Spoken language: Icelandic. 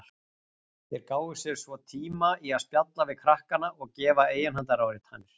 Þeir gáfu sér svo tíma í að spjalla við krakkana og gefa eiginhandaráritanir.